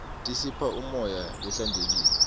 tisipha umoya lohlantekile